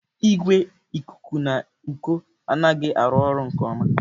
Igwe ikuku n'uko anaghị arụ ọrụ nke ọma.